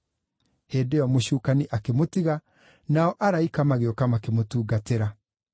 Hĩndĩ ĩyo mũcukani akĩmũtiga, nao araika magĩũka makĩmũtungatĩra.